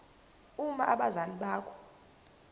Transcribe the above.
uma abazali bakho